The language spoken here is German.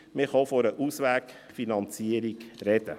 man kann auch von einer «Auswegfinanzierung» sprechen.